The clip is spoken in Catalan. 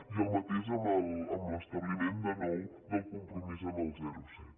i el mateix amb l’establiment de nou del compromís amb el zero coma set